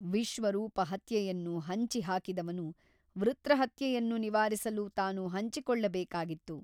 ವಿಶ್ವರೂಪ ಹತ್ಯೆಯನ್ನು ಹಂಚಿ ಹಾಕಿದವನು ವೃತ್ರಹತ್ಯೆಯನ್ನು ನಿವಾರಿಸಲು ತಾನು ಹಂಚಿಕೊಳ್ಳಬೇಕಾಗಿತ್ತು.